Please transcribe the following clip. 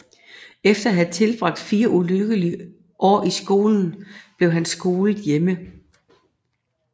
Efter at have tilbragt fire ulykkelige år i skolen blev han skolet hjemme